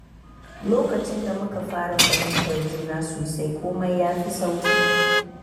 Lokacin da muka fara fahimtar juna sosai, komai ya fi sauƙi.